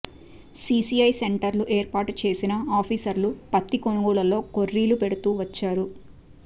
CCI సెంటర్లు ఏర్పాటు చేసినా ఆఫీసర్లు పత్తి కొనుగోళ్లలో కొర్రీలు పెడుతూ వచ్చారు